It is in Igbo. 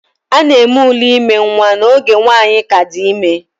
A na-eme ule ime nwa n'oge nwanyi ka di ime